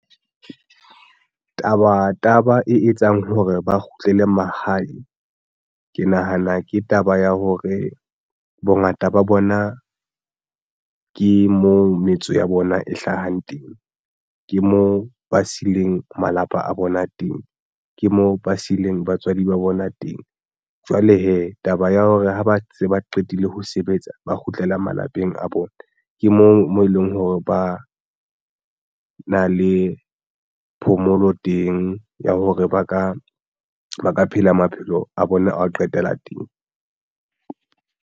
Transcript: Taba taba e etsang hore ba kgutlele mahae. Ke nahana ke taba ya hore bongata ba bona ke moo metso ya bona e hlahang teng. Ke moo ba sileng malapa a bona a teng, ke moo ba sileng batswadi ba bona teng. Jwale hee taba ya hore ha ba se ba qetile ho sebetsa ba kgutlela malapeng a bona ke moo mo e leng hore ba na le phomolo teng ya hore ba ka phela maphelo a bona a ho qetela teng.